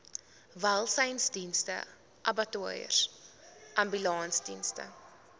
welsynsdienste abattoirs ambulansdienste